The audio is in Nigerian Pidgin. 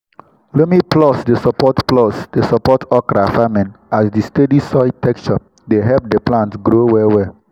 loamy plots dey support plots dey support okra farming as di steady soil texture dey help di plant grow well well.